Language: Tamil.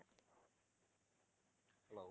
hello